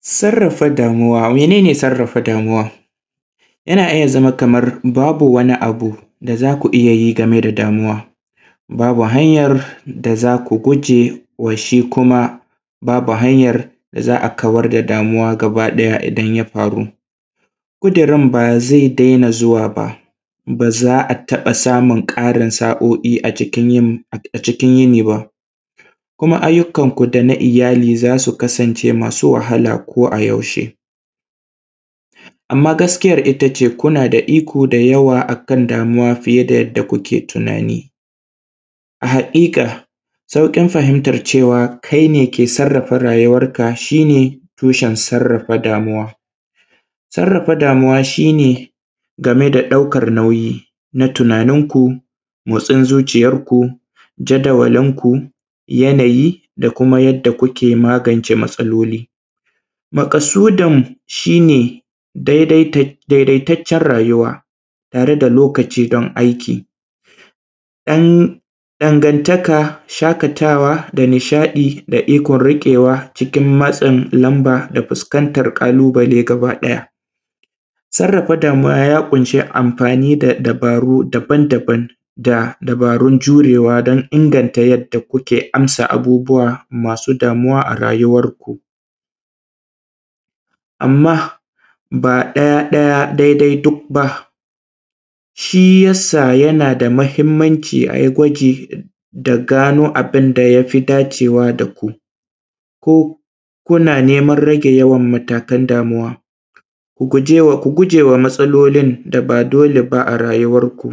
Sarrafa damuwa, mene ne sarrafa damuwa? yana iya zama kamar babu wani abu da zaku iya yi game da damuwa babu hanyar da zaku guje wa shi kuma babu hayar da za a kawar da damuwa gaba ɗaya idan ya faru, ƙudirin ba zai daina zuwa ba za a taɓa samun ƙarin sa`o`I a cikin a cikin yini ba, kuma aiyukan ku dana iyali za su kasance masu wahala ko a yaushe amma gaskiyar itace kuna da iko da yawa akan damuwa fiye da yadda kuke tunani a haƙiƙa sauƙin fahintar cewa kai ne ke sarrafa rayuwar ka shi tushen sarrafa damuwa, sarrafa damuwa shi ne game da ɗaukan nauyi na tunanin ku, motsin zuciyar ku, jadawalin ku, yanayi da kuma yadda kuke magance matsaloli, maƙasudin shi ne daidaitat daidaitaccen rayuwa tare da lokaci dan aiki ɗan ɗangantaka, shaƙatawa da kuma nishaɗi da ikon riƙewa cikin matsin lamba da fuskantar ƙalubale gaba ɗaya,, sarrafa damuwa ya ƙunshe amfani da dabaru daban daban da dabarun jurewa dan inganta yadda kuke amsa abubuwa masu damuwa a rayuwar ku, amma ba ɗaya ɗaya daidai duk ba, shi yasa yana da mahimmanci ayi gwaji da gano abin da yafi dacewa da ku ko kuna neman rage yawan matakan damuwa ku gujewa ku gujewa matsalolin da ba dole ba a rayuwar ku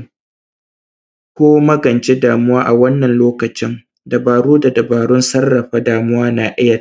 ko magance damuwa a wannan lokacin dabaru da dabarun sarrafa damuwa na iya.